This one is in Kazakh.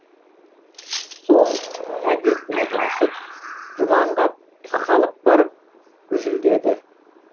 сол әдетіне басып жұманға тақалып барып гүжілдеді